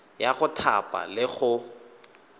ya go thapa le go